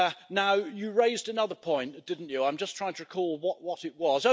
Now, you raised another point, didn't you? I'm just trying to recall what it was.